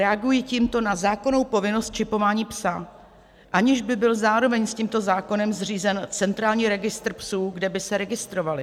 Reaguji tímto na zákonnou povinnost čipování psa, aniž by byl zároveň s tímto zákonem zřízen centrální registr psů, kde by se registrovali.